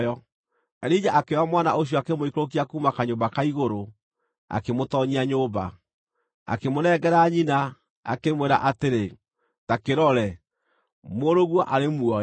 Elija akĩoya mwana ũcio akĩmũikũrũkia kuuma kanyũmba ka igũrũ, akĩmũtoonyia nyũmba. Akĩmũnengera nyina, akĩmwĩra atĩrĩ, “Ta kĩrore, mũrũguo arĩ muoyo!”